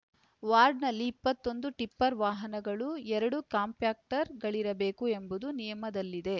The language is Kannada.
ವಾರ್ಡ್‌ನಲ್ಲಿ ಇಪ್ಪತ್ತೊಂದು ಟಿಪ್ಪರ್‌ ವಾಹನಗಳು ಎರಡು ಕಾಂಪ್ಯಾಕ್ಟರ್‌ಗಳಿರಬೇಕು ಎಂಬುದು ನಿಯಮದಲ್ಲಿದೆ